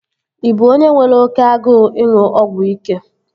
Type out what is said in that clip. Ị bụ onye nwere oké agụụ ịṅụ ọgwụ ike?